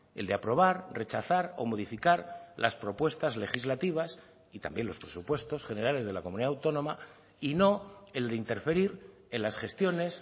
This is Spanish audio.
el de aprobar rechazar o modificar las propuestas legislativas y también los presupuestos generales de la comunidad autónoma y no el de interferir en las gestiones